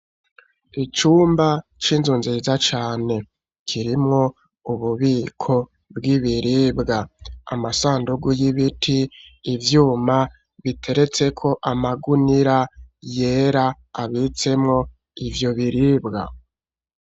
Icumba c'inzu nziza cane kirimwo ububiko bw'ibiribwa, amasandugu y'ibiti ivyuma biteretseko amagunira yera, abitsemwo ivyo biribwa.